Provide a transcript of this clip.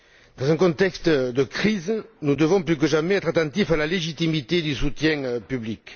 Dans un contexte de crise, nous devons plus que jamais être attentifs à la légitimité du soutien public.